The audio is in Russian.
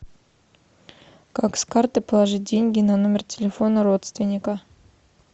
как с карты положить деньги на номер телефона родственника